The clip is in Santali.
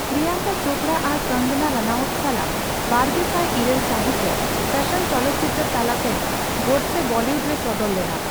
ᱯᱤᱨᱭᱟᱝᱠᱟ ᱪᱳᱯᱲᱟ ᱟᱨ ᱠᱚᱝᱜᱚᱱᱟ ᱨᱟᱱᱟᱣᱩᱛ ᱥᱟᱞᱟᱜ ᱵᱟᱨᱜᱮᱥᱟᱭ ᱤᱨᱟᱹᱞ ᱥᱟᱹᱦᱤᱛ ᱨᱮ ᱯᱷᱮᱥᱚᱱ ᱪᱚᱞᱚᱛ ᱪᱤᱛᱟᱹᱨ ᱛᱟᱞᱟᱛᱮ ᱜᱚᱰᱥᱮᱹ ᱵᱚᱞᱤᱭᱩᱰ ᱨᱮ ᱥᱚᱫᱚᱨ ᱞᱮᱱᱟ ᱾